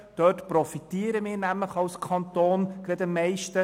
Von diesen profitieren wir als Kanton am meisten.